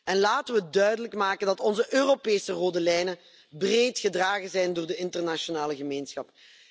En laten wij duidelijk maken dat onze Europese rode lijnen breed gedragen zijn door de internationale gemeenschap.